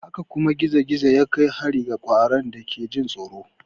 Haka kuma gizo-gizo ya kai hari ga ƙwaron da ake jin tsoro.